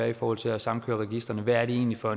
i forhold til at samkøre registrene hvad er det egentlig for